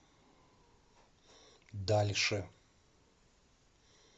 дальше